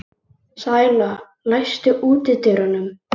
Sæla, læstu útidyrunum.